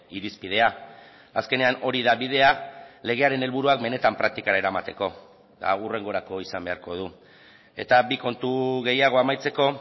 irizpidea azkenean hori da bidea legearen helburuak benetan praktikara eramateko eta hau hurrengorako izan beharko du eta bi kontu gehiago amaitzeko